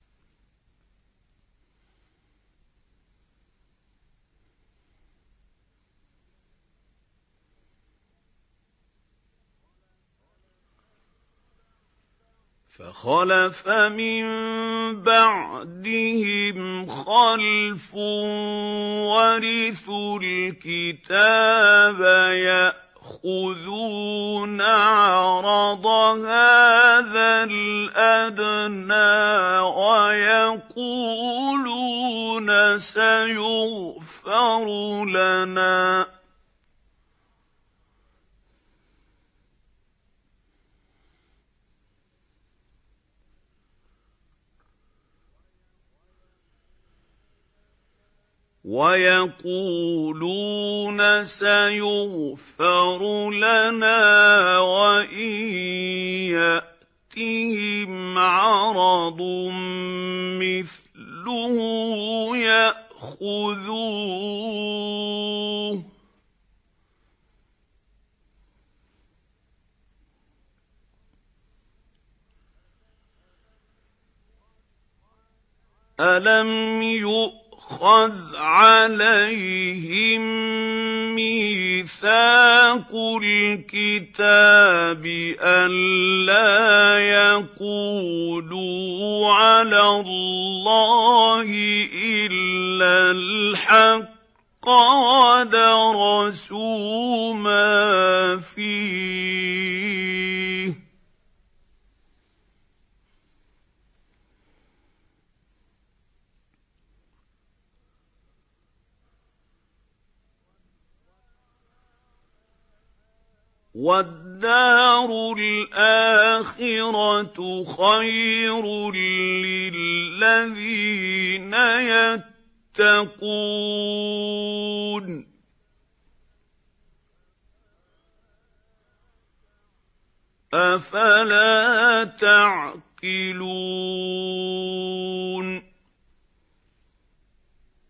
فَخَلَفَ مِن بَعْدِهِمْ خَلْفٌ وَرِثُوا الْكِتَابَ يَأْخُذُونَ عَرَضَ هَٰذَا الْأَدْنَىٰ وَيَقُولُونَ سَيُغْفَرُ لَنَا وَإِن يَأْتِهِمْ عَرَضٌ مِّثْلُهُ يَأْخُذُوهُ ۚ أَلَمْ يُؤْخَذْ عَلَيْهِم مِّيثَاقُ الْكِتَابِ أَن لَّا يَقُولُوا عَلَى اللَّهِ إِلَّا الْحَقَّ وَدَرَسُوا مَا فِيهِ ۗ وَالدَّارُ الْآخِرَةُ خَيْرٌ لِّلَّذِينَ يَتَّقُونَ ۗ أَفَلَا تَعْقِلُونَ